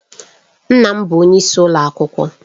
Nna m bụ onyeisi ụlọ akwụkwọ.